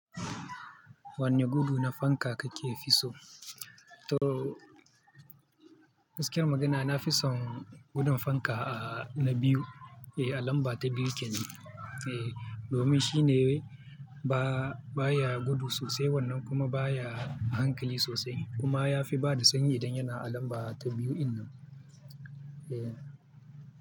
Wanne gudu na fanka kake fi so? To, gaskiyan magana, na fi son gudun fanka, ah, na biyu. Eh, a lamba ta biyu kenan, eh, domin shi ne ba, ba ya gudu sosai wannan kuma ba ya hankali sosai. Kuma ya fi bada sanyi idan yana alamba ta biyu innan. Eh.